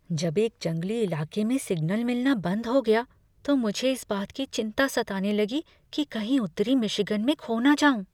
जब एक जंगली इलाके में सिग्नल मिलना बंद हो गया तो मुझे इस बात की चिंता सताने लगी कि कहीं उत्तरी मिशिगन में खो न जाऊँ।